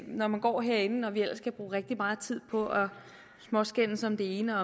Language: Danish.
når man går herinde og vi ellers kan bruge rigtig meget tid på at småskændes om det ene